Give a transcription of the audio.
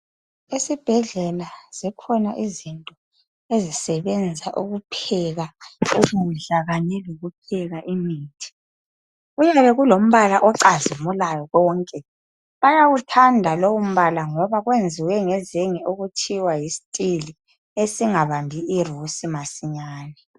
Esibhedlela zikhona izinto ezisebenza ukupheka ukudla kanye lokupheka imithi. Kuyabe kulombala ocazimulayo konke. Bayawuthanda lowu mbala ngoba kwenziwe ngezenge okuthiwa yisteel esingabambi irusi masinyane.